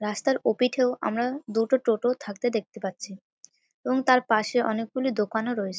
রাস্তার ওপিঠেও আমরা দুটো টোটো থাকতে দেখতে পাচ্ছি এবং তার পাশে অনেকগুলি দোকানও রয়েছে।